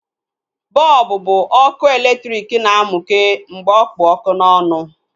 Bọlbụ bụ ọkụ elektriki na-mukee mgbe ọkpụ ọkụ n'ọnụ